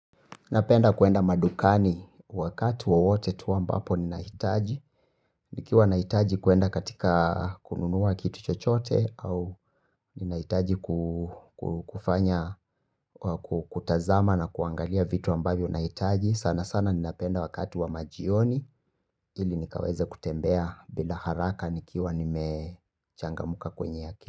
Napenda kuenda madukani wakati wowote tu ambapo ninahitaji. Nikiwa nahitaji kuenda katika kununua kitu chochote au ninahitaji kufanya kutazama na kuangalia vitu ambavyo nahitaji sana sana ninapenda wakati wa majioni ili nikaweze kutembea bila haraka nikiwa nimechangamuka kwenye akili.